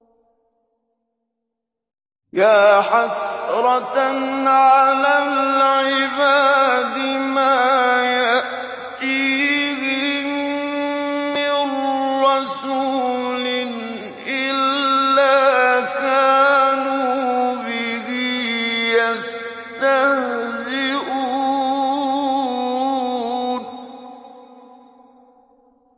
يَا حَسْرَةً عَلَى الْعِبَادِ ۚ مَا يَأْتِيهِم مِّن رَّسُولٍ إِلَّا كَانُوا بِهِ يَسْتَهْزِئُونَ